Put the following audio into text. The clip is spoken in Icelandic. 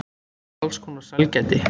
Og alls konar sælgæti.